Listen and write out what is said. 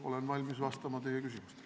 Olen valmis vastama teie küsimustele.